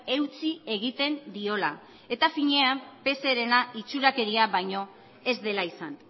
eutsi egiten diola eta finean pserena itxurakeria baino ez dela izan